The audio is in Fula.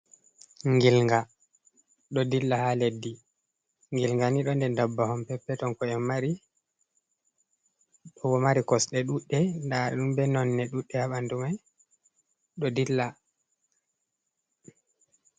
Ngilnga ɗo dilla ha leddi. Ngilnga ni ɗo nder dabbawa on peppeton ko en mari ɗo mari kosde duɗɗe da ɗum be nonɗe duɗɗe ha ɓandu mai ɗo dilla.